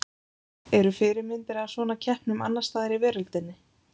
Eru fyrirmyndir að svona keppnum annars staðar í veröldinni?